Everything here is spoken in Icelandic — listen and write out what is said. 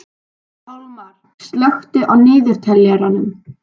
Pálmar, slökktu á niðurteljaranum.